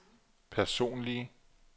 personlige